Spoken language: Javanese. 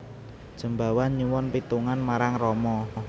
Jembawan nyuwun pitungan marang Rama